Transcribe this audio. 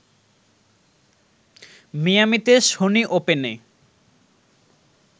মিয়ামিতে Sony ওপেনে